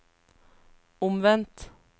omvendt